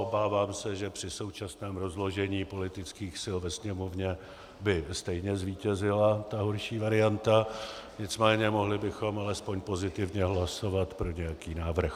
Obávám se, že při současném rozložení politických sil ve Sněmovně by stejně zvítězila ta horší varianta, nicméně mohli bychom alespoň pozitivně hlasovat pro nějaký návrh.